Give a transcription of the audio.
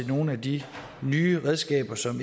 nogle af de nye redskaber som